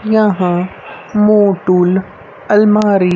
यहां मोटूल अलमारी--